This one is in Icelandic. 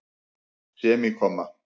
semíkomma